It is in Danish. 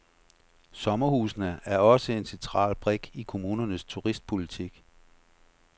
Sommerhusene er også en central brik i kommunernes turistpolitik.